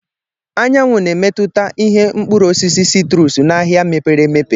Anyanwụ na-emetụta ìhè Mkpụrụ osisi citrus n'ahịa mepere emepe.